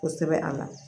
Kosɛbɛ a la